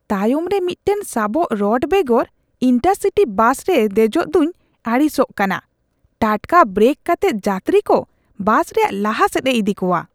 ᱛᱟᱭᱚᱢᱨᱮ ᱢᱤᱫᱴᱟᱝ ᱥᱟᱵᱚᱜ ᱨᱚᱰ ᱵᱮᱜᱚᱨ ᱤᱱᱴᱟᱨᱼᱥᱤᱴᱤ ᱵᱟᱥ ᱨᱮ ᱫᱮᱡᱚᱜᱫᱩᱧ ᱟᱹᱲᱤᱥᱟᱜ ᱠᱟᱱᱟ ᱾ ᱴᱟᱴᱠᱟ ᱵᱨᱮᱠ ᱠᱟᱛᱮᱫ ᱡᱟᱛᱨᱤᱠᱚ ᱵᱟᱥ ᱨᱮᱭᱟᱜ ᱞᱟᱦᱟᱥᱮᱫᱼᱮ ᱤᱫᱤ ᱠᱚᱣᱟ ᱾